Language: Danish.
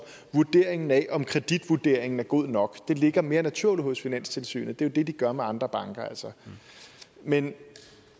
vurderingen af om kreditvurderingen er god nok ligger mere naturligt hos finanstilsynet det er jo det de gør med andre banker men